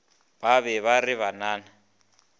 ba be ba re bannanna